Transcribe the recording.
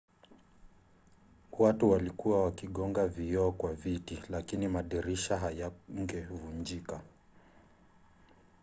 watu walikuwa wakigonga vioo kwa viti lakini madirisha hayangevunjika